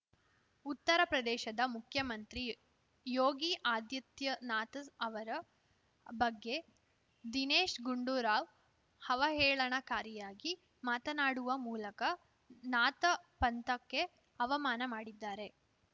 ಉತ್ತರ ಪ್ರದೇಶದ ಮುಖ್ಯಮಂತ್ರಿ ಯೋಗಿ ಆದಿತ್ಯನಾಥ್‌ ಅವರ ಬಗ್ಗೆ ದಿನೇಶ್‌ ಗುಂಡೂರಾವ್‌ ಅವಹೇಳನಕಾರಿಯಾಗಿ ಮಾತನಾಡುವ ಮೂಲಕ ನಾಥ ಪಂಥಕ್ಕೆ ಅವಮಾನ ಮಾಡಿದ್ದಾರೆ